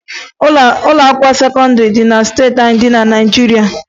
Ụlọakwụkwọ sekọndịrị dị na steeti niile dị na Naịjirịa